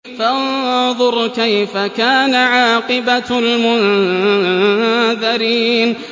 فَانظُرْ كَيْفَ كَانَ عَاقِبَةُ الْمُنذَرِينَ